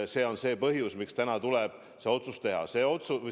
See on põhjus, miks tuli see otsus teha.